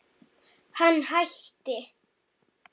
Hann hætti.